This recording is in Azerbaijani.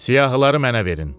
Siyahıları mənə verin.